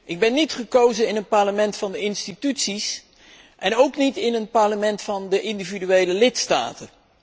Ik ben niet gekozen in een Parlement van de instituties en ook niet in een Parlement van individuele lidstaten.